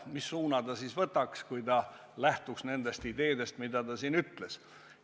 Mis suuna ta võtaks, kui ta lähtuks nendest ideedest, mida ta siin ütles?